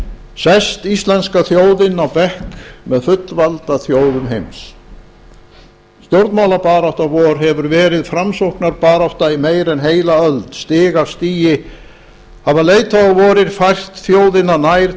sest íslenska þjóðin á bekk með fullvalda þjóðum heimsins stjórnmálabarátta vor hefir verið framsóknarbarátta í meira en heila öld stig af stigi hafa leiðtogar vorir fært þjóðina nær